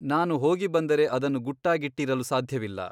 ನಾನು ಹೋಗಿ ಬಂದರೆ ಅದನ್ನು ಗುಟ್ಟಾಗಿಟ್ಟಿರಲು ಸಾಧ್ಯವಿಲ್ಲ.